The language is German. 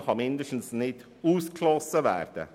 Dies kann zumindest nicht ausgeschlossen werden.